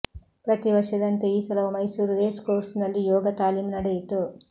ಪ್ರತಿ ವರ್ಷದಂತೆ ಈ ಸಲವೂ ಮೈಸೂರು ರೇಸ್ ಕೋರ್ಸ್ನಲ್ಲಿ ಯೋಗ ತಾಲೀಮು ನಡೆಯಿತು